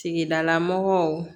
Tigidala mɔgɔw